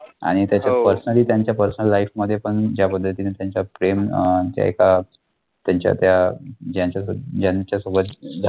आणि त्याच्यात personally त्यांच्या personal life मध्ये पण ज्या पद्धतीने त्यांच प्रेम अं एका त्यांच्या त्या ज्यांच्यासो ज्यांच्यासोबत झालं